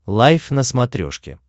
лайф на смотрешке